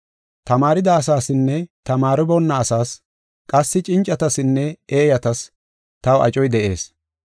Tamaarida asaasinne tamaariboonna asaas qassi cincatasinne eeyatas taw acoy de7ees.